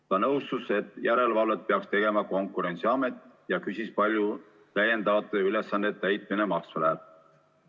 Ta nõustus, et järelevalvet peaks tegema Konkurentsiamet, ja küsis, palju täiendavate ülesannete täitmine maksma läheb.